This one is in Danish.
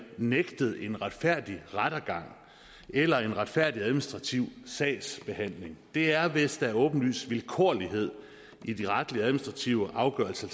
nægtet en retfærdig rettergang eller en retfærdig administrativ sagsbehandling det er hvis der er åbenlys vilkårlighed i de retlige og administrative afgørelser